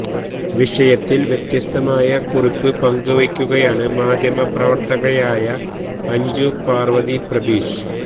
വിഷയത്തില് വ്യത്യസ്തമായ കുറിപ്പ് പങ്കുവെക്കുകയാണ് മാധ്യമപ്രവർത്തകയായ അഞ്ജു പാർവതി പ്രഭീഷ്